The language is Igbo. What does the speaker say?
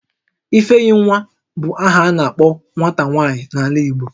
Ifeyinwa bu aha a na-akpo nwata nwaanyị n'ala Igbo